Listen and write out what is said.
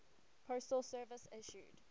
postal service issued